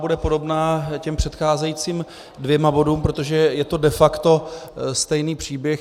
Bude podobná těm předcházejícím dvěma bodům, protože je to de facto stejný příběh.